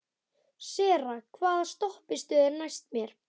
Sera, hvaða stoppistöð er næst mér?